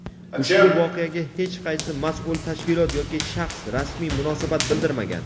ushbu voqeaga hech qaysi mas’ul tashkilot yoki shaxs rasmiy munosabat bildirmagan.